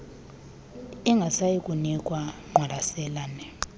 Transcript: ingasayi kunikwa ngqwalaselane